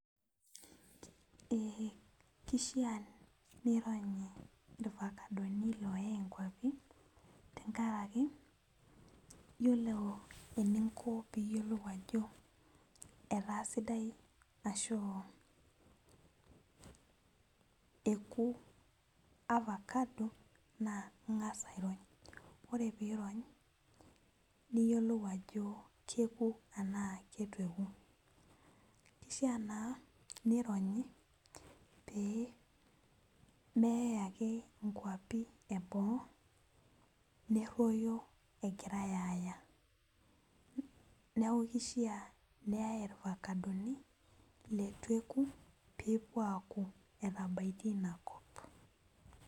Ee kishaa nironyi irfakadoni oyae nkwapi tenkaraki yiolo eninko peyiolou ajo etaa sidai ashu eoku na ingasa airony ore pirony niyiolou ajo keku tanaa kitu eku kishaa naa nironyi neyai nkwapi eboo neroyo utu eyai neaku kishaa neyai irfakadoni letueku pepuo aaku etabaitie inakop